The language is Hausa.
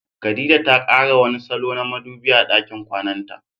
Khadija ta kara wani salo na madubi a dakin kwananta.